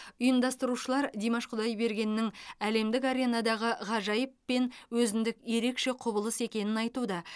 ұйымдастырушылар димаш құдайбергеннің әлемдік аренадағы ғажайып пен өзіндік ерекше құбылыс екенін айтуда